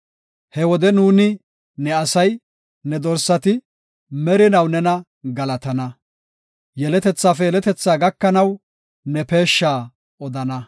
He wode nuuni ne asay, ne dorsati, merinaw nena galatana. Yeletethaafe yeletethaa gakanaw, ne peeshsha odana.